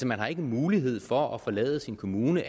man har ikke mulighed for at forlade sin kommune